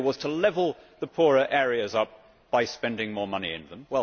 The idea was to level the poorer areas up by spending more money in them.